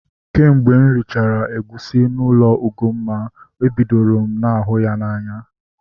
Kemgbe m richara egusi n'ụlọ Ugomma, ebidoro m ihu ya n'anya